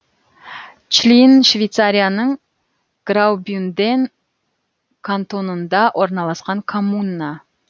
члин швейцарияның граубюнден кантонында орналасқан коммуна